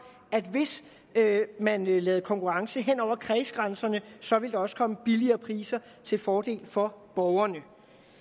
at hvis man lavede konkurrence hen over kredsgrænserne så ville der også komme billigere priser til fordel for borgerne